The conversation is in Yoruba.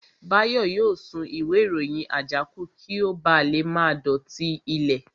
Báyọ̀ yóò sun ìwé ìròyìn àjákù kí ó ba lè má dọ̀tí ilẹ̀